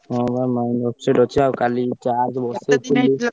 ହଁ ବା mind upset ଅଛି। ଆଉ କାଲି charge ବସେଇଥିଲି ।